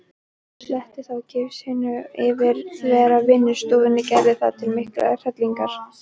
Sletti þá gifsinu yfir þvera vinnustofuna Gerði til mikillar hrellingar.